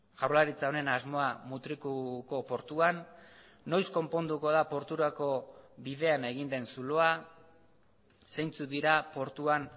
jaurlaritza honen asmoa mutrikuko portuan noiz konponduko da porturako bidean egin den zuloa zeintzuk dira portuan